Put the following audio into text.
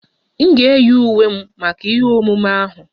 M ga-eyi uwe m maka ihe omume ahụ